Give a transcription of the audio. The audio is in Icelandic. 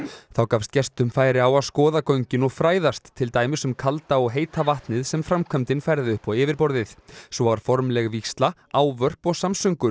þá gafst gestum færi á að skoða göngin og fræðast til dæmis um kalda og heita vatnið sem framkvæmdin færði upp á yfirborðið svo var formleg vígsla ávörp og samsöngur